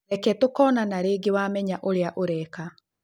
Reke tũkonana rĩngĩ wamenya ũria ũreka.